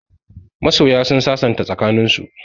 Masoya sun sasanta tsakaninsu.